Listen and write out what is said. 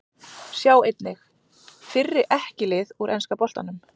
Sjá einnig: Fyrri EKKI lið úr enska boltanum